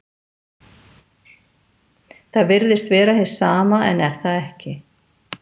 Það virðist vera hið sama en er það ekki.